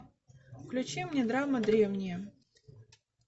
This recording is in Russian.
включи мне драма древние